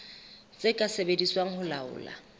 tse ka sebediswang ho laola